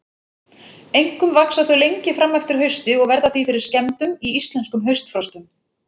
Einkum vaxa þau lengi fram eftir hausti og verða því fyrir skemmdum í íslenskum haustfrostum.